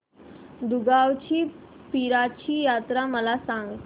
दुगावची पीराची यात्रा मला सांग